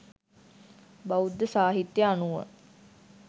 බෞද්ධ සාහිත්‍ය අනුව